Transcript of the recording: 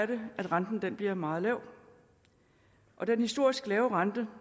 det at renten bliver meget lav den historisk lave rente